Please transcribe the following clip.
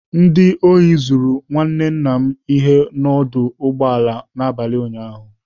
Ndị ahụ zuru nwanne nna m ihe n'ọdụ ụgbọ ala n'abalị ụnyaahụ.